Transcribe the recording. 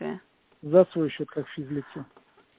вие завтра ещё как физлицо